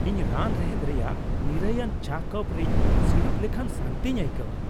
ᱤᱧ ᱨᱟᱱ ᱨᱮᱦᱮᱫ ᱨᱮᱭᱟᱜ ᱱᱤᱨᱟᱹᱭᱟᱱ ᱪᱟ ᱠᱟᱯ ᱨᱤᱧ ᱥᱤᱲᱩᱵ ᱞᱮᱠᱷᱟᱱ ᱥᱟᱱᱛᱤᱧ ᱟᱹᱭᱠᱟᱹᱣᱟ ᱾